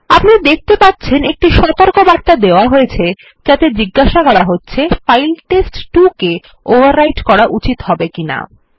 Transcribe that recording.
আপনি দেখতে পারছেন একটি সতর্কবার্তা দেওয়া হয়েছে যাতে জিজ্ঞাসা করা হচ্ছে ফাইল test2কে ওভাররাইট করা উচিত হবে কী হবে না